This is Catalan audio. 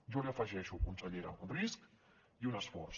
jo hi afegeixo consellera un risc i un esforç